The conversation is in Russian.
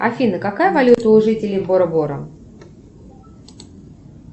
афина какая валюта у жителей бора бора